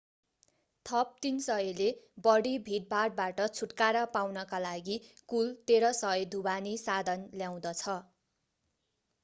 थप 300 ले बढि भीडभाडबाट छुटकारा पाउनका लागि कुल 1300 ढुवानी साधन ल्याउँदछ